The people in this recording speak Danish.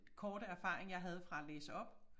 Korte erfaring jeg havde fra at læse op